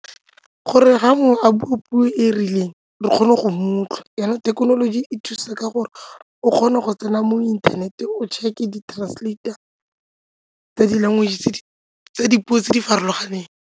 Gore ga mongwe a bua puo e e rileng re kgone go motlha, jaanong thekenoloji e thusa ka gore o kgone go tsena mo inthaneteng o check-e di-translator tsa di-language tse tsa dipuo tse di farologaneng.